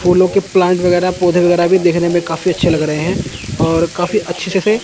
फूलों के प्लांट वगैरह पौधे वगैरह भी देखने में काफी अच्छे लग रहे हैं और काफी अच्छे से।